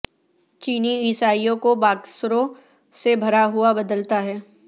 چینی عیسائیوں کو باکسروں سے بھرا ہوا بدلتا ہے